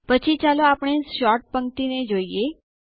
પછી ચાલો આપણે સોર્ટ પંક્તિ ને જોઈએ